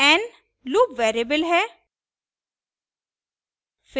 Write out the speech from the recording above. n loop variable है